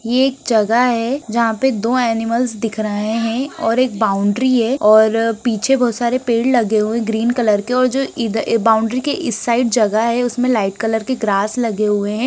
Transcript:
ये एक जगह है जहां पे दो एनिमल्स दिख रहे है और एक बाउन्डरी है और अ पीछे बहोत सारे पेड़ लगे हुए ग्रीन कलर के और जो इधर बाउन्डरी के इस साइड जगह है लाइट कलर की ग्रास लगे हुए है।